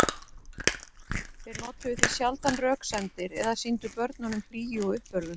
Þeir notuðu því sjaldan röksemdir eða sýndu börnunum hlýju og uppörvun.